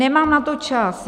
Nemám na to čas.